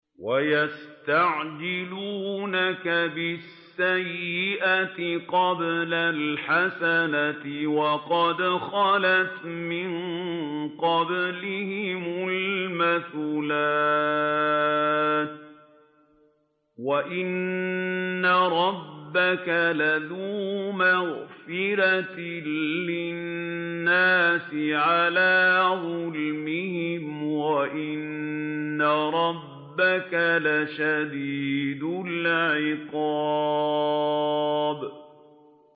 وَيَسْتَعْجِلُونَكَ بِالسَّيِّئَةِ قَبْلَ الْحَسَنَةِ وَقَدْ خَلَتْ مِن قَبْلِهِمُ الْمَثُلَاتُ ۗ وَإِنَّ رَبَّكَ لَذُو مَغْفِرَةٍ لِّلنَّاسِ عَلَىٰ ظُلْمِهِمْ ۖ وَإِنَّ رَبَّكَ لَشَدِيدُ الْعِقَابِ